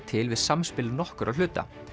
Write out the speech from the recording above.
til við samspil nokkurra hluta